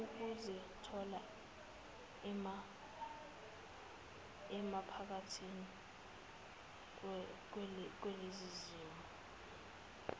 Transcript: ukuzithola emaphakathi kulezizimo